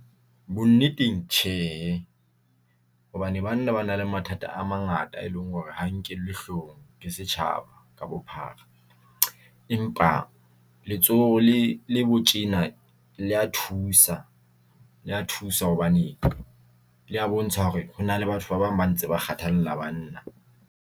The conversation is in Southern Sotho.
Bonneteng tjhe, hobane banna ba na le mathata a mangata, e leng hore ha nkellwe hloohong ke setjhaba ka bophara, empa letsoho le le bo tjena. Le ya thusa hobane le ya bontsha hore hona le batho ba bang ba ntse ba kgathalla banna.